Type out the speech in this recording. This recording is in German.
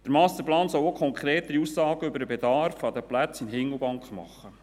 Der Masterplan soll auch konkrete Aussagen über den Bedarf an Plätzen in Hindelbank machen.